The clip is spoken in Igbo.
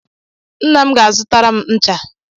Nna m ga-zụtara m ncha